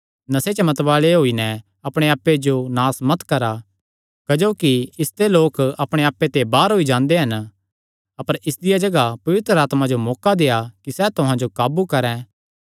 नशे च मतवाल़े होई नैं अपणे आप्पे जो नास मत करा क्जोकि इसते लोक अपणे आप्पे ते बाहर होई जांदे हन अपर इसदिया जगाह पवित्र आत्मा जो मौका देआ कि सैह़ तुहां जो काबू करैं